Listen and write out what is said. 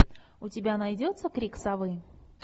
у тебя найдется крик совы